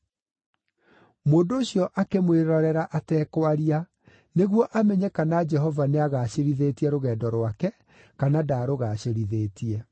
Mũndũ ũcio akĩmwĩrorera atekwaria, nĩguo amenye kana Jehova nĩagacĩrithĩtie rũgendo rwake kana ndaarũgacĩrithĩtie.